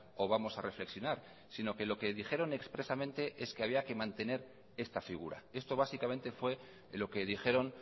o vamos a reflexionar sino que lo que dijeron expresamente es que había que mantener esta figura esto básicamente fue lo que dijeron